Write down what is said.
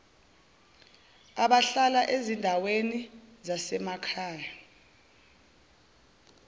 abahlala ezindaweni zasemakhaya